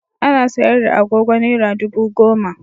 Ana sayar da agogo Naira dubu goma.